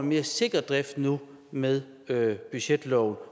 mere sikker drift nu med budgetloven